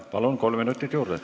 Palun, kolm minutit juurde!